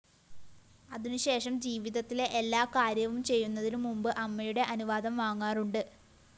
അതിനുശേഷം ജീവിതത്തിലെ എല്ലാ കാര്യവും ചെയ്യന്നതിനുമുമ്പ് അമ്മയുടെ അനുവാദം വാങ്ങാറുണ്ട്